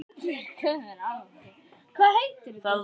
Hún horfir á hana stórum augum.